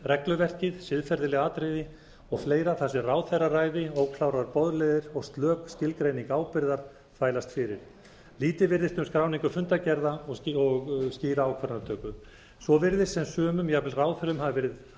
regluverkið siðferðileg atriði þar sem ráðherraræði óklárar boðleiðir og slök skilgreining ábyrgðar þvælast fyrir lítið virðist um skráningu fundargerða og skýra ákvarðanatöku svo virðist sem sumum jafnvel ráðherrum hafi verið